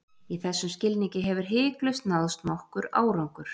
Í þessum skilningi hefur hiklaust náðst nokkur árangur.